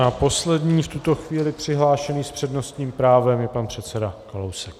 A poslední v tuto chvíli přihlášený s přednostním právem je pan předseda Kalousek.